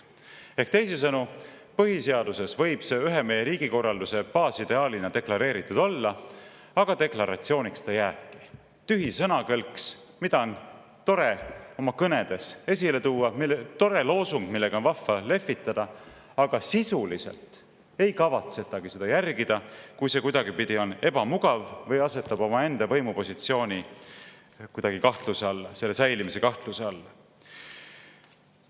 Ehk teisisõnu, põhiseaduses võib see ühe meie riigikorralduse baasideaalina deklareeritud olla, aga deklaratsiooniks ta jääbki – tühi sõnakõlks, mida on tore oma kõnedes esile tuua, tore loosung, millega on vahva lehvitada, aga sisuliselt ei kavatsetagi seda järgida, kui see kuidagipidi on ebamugav või asetab omaenda võimupositsiooni kuidagi kahtluse alla, selle püsimise kahtluse alla.